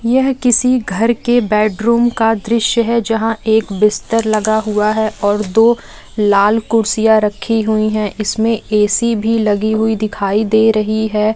यह किसी घर के बेड रूम का दृश्य है जहाँ एक बिस्तर लगा हुआ है और दो लाल कुर्सियां रखी हुई हैं इसमें एसी भी लगी हुई दिखाई दे रही हैं।